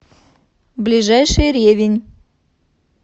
ближайший ревень